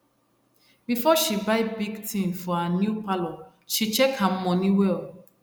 before she buy big thing for her new parlour she check her money well